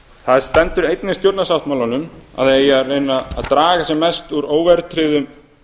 það stendur einnig í stjórnarsáttmálanum að það eigi að reyna að draga sem mest úr óverðtryggðum